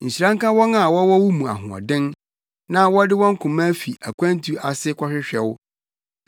Nhyira nka wɔn a wɔwɔ wo mu ahoɔden, na wɔde wɔn koma fi akwantu ase kɔhwehwɛ wo.